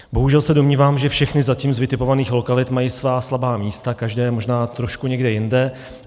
Bohužel se domnívám, že všechny ze zatím vytipovaných lokalit mají svá slabá místa, každé možná trošku někde jinde.